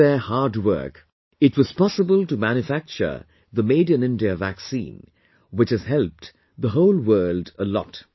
Due to their hard work, it was possible to manufacture the Made In India vaccine, which has helped the whole world a lot